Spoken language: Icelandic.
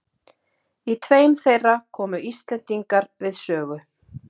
Í tveim þeirra komu íslendingar við sögu.